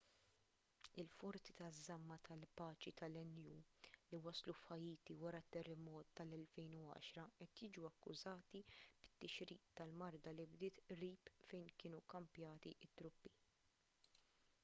il-forżi taż-żamma tal-paċi tan-nu li waslu f'ħaiti wara t-terremot tal-2010 qed jiġu akkużati bit-tixrid tal-marda li bdiet qrib fejn kienu kkampjati t-truppi